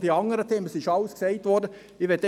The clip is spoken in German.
Ich möchte Ihnen einfach folgendes mitgeben: